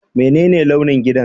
Menene launin gidan?